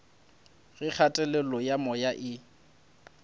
ge kgatelelo ya moya e